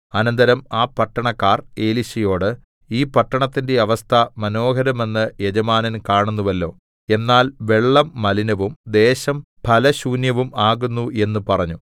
അനന്തരം ആ പട്ടണക്കാർ എലീശയോട് ഈ പട്ടണത്തിന്റെ അവസ്ഥ മനോഹരമെന്ന് യജമാനൻ കാണുന്നുവല്ലോ എന്നാൽ വെള്ളം മലിനവും ദേശം ഫലശൂന്യവും ആകുന്നു എന്നു പറഞ്ഞു